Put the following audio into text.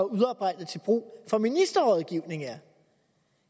udarbejdet til brug for ministerrådgivning er